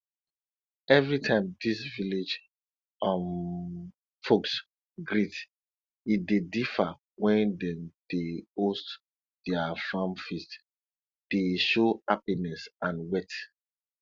every time dis village um folks greet e dey differ wen dem dey host dia farm feast dey show happiness and wealth